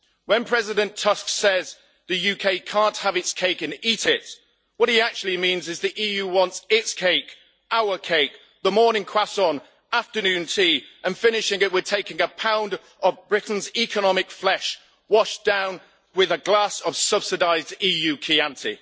When President Tusk says the UK can't have its cake and eat it, what he actually means is the EU wants its cake our cake, the morning croissant, afternoon tea and, finishing it, we're taking a pound of Britain's economic flesh, washed down with a glass of subsidised EU chianti.